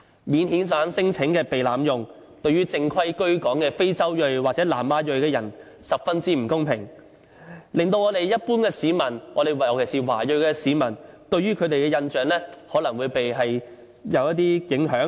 免遣返聲請被濫用，對於正規居港的非洲裔或南亞裔人士十分不公平，一般市民，尤其是華裔市民，對他們的印象也可能會有一些影響。